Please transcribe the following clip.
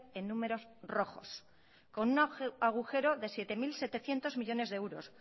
en números rojos con un agujero de siete mil setecientos millónes de euros